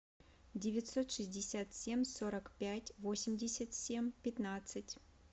девятьсот шестьдесят семь сорок пять восемьдесят семь пятнадцать